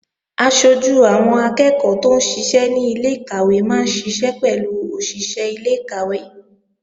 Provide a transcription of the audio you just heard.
Aṣojú àwọn akẹ́ẹ̀kọ́ tóún ṣiṣẹ́ ní ilé-ìkàwé máa ń ṣiṣẹ́ pẹ̀lú òṣìṣé ilé-ìkàwé